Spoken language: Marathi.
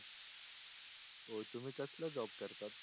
हो तुम्ही कसला जॉब करतात?